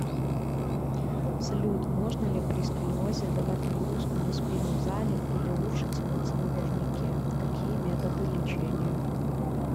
салют можно ли при сколиозе давать нагрузку на спину в зале или лучше тянуться на турникекакие методы лечения